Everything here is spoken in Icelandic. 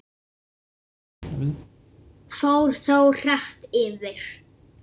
Fór þó hratt yfir.